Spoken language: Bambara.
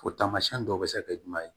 O taamasiyɛn dɔw bɛ se ka kɛ jumɛn ye